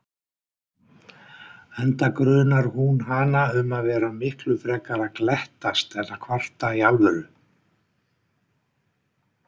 Enda grunar hún hana um að vera miklu frekar að glettast en kvarta í alvöru.